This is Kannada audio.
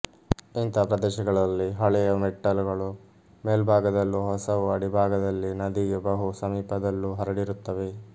ಇಂಥ ಪ್ರದೇಶಗಳಲ್ಲಿ ಹಳೆಯ ಮೆಟ್ಟಲುಗಳು ಮೇಲ್ಭಾಗದಲ್ಲೂ ಹೊಸವು ಅಡಿಭಾಗದಲ್ಲಿ ನದಿಗೆ ಬಹು ಸಮೀಪದಲ್ಲೂ ಹರಡಿರುತ್ತವೆ